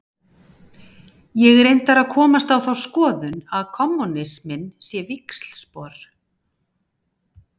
Ég er reyndar að komast á þá skoðun að kommúnisminn sé víxlspor.